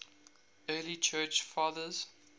early church fathers